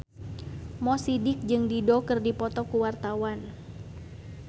Mo Sidik jeung Dido keur dipoto ku wartawan